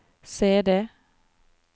CD